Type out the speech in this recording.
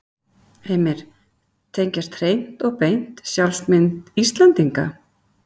Heimir: Tengjast hreint og beint sjálfsmynd Íslendinga?